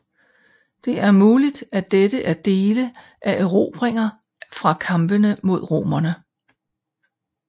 Det er muligt at dette er dele af erobringer fra kampene med romerne